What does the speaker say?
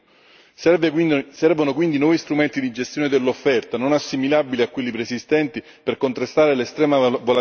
Servono quindi nuovi strumenti di gestione dell'offerta, non assimilabili a quelli preesistenti, per contrastare l'estrema volatilità dei prezzi.